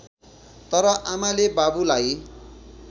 तर आमाले बाबुलाई